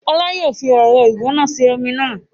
Ọlá yìí ó fi ẹ̀rọ ìgbóná ṣe omi náà